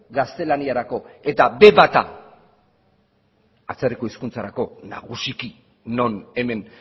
gaztelaniarako eta be bata atzerriko hizkuntzarako nagusiki non hemen